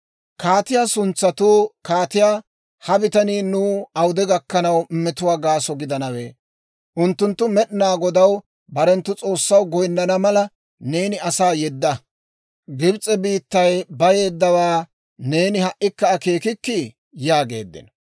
Kaatiyaa suntsatuu kaatiyaa, «Ha bitanii nuw awude gakkanaw metuwaa gaaso gidanawe? Unttunttu Med'inaa Godaw, barenttu S'oossaw, goynnana mala, neeni asaa yedda; Gibs'e biittay bayeeddawaa neeni ha"ikka akeekikkii?» yaageeddino.